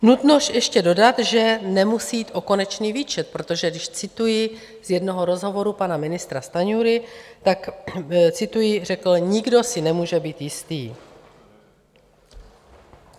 Nutno ještě dodat, že nemusí jít o konečný výčet, protože když cituji z jednoho rozhovoru pana ministra Stanjury, tak cituji, řekl: "Nikdo si nemůže být jistý."